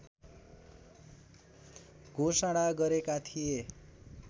घोषणा गरेका थिए।